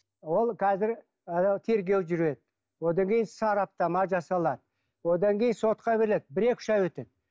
ол қазір тергеу жүреді одан кейін сараптама жасалады одан кейін сотқа береді бір екі үш ай өтеді